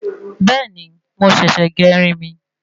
Bẹ́ẹ̀ni mo ṣèsè gé irin mi